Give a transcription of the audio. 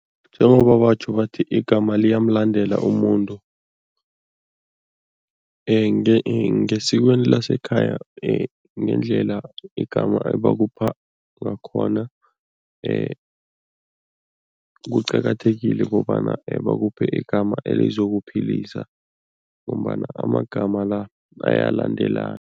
Njengoba batjho bathi, igama liyamlandela umuntu. Ngesikweni lasekhaya ngendlela igama ebakupha ngakhona, kuqakathekile kobana bakuphe igama elizokuphilisa ngombana amagama la bayalandelana.